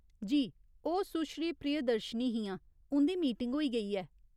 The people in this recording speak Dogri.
जी, ओह् सुश्री प्रियदर्शिनी हियां, उं'दी मीटिंग होई गेई ऐ।